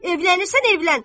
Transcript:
Evlənirsən, evlən.